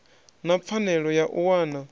na pfanelo ya u wana